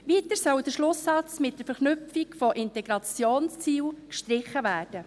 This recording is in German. Weiter soll der Schlusssatz mit der Verknüpfung mit Integrationszielen gestrichen werden.